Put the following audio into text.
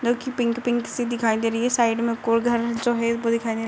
जो कि pink pink सी दिखाई दे रही है। साइड में कोल घर जो है वो दिखाई दे रहा है।